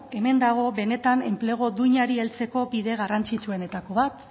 hemen dago benetan enplegu duinari heltzeko bide garrantzitsuenetako bat